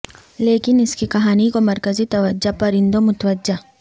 لیکن اس کی کہانی کو مرکزی توجہ پرندوں متوجہ